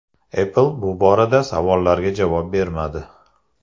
Apple bu borada savollarga javob bermadi.